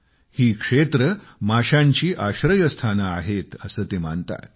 ही क्षेत्रे माशांची आश्रयस्थाने आहेत असे ते मानतात